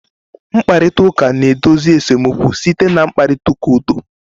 Mkparịta ụka na-edozi esemokwu site na mkparịta ụka udo